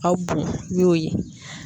Aw bon ye.